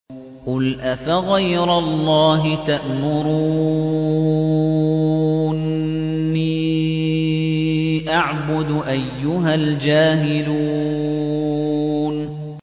قُلْ أَفَغَيْرَ اللَّهِ تَأْمُرُونِّي أَعْبُدُ أَيُّهَا الْجَاهِلُونَ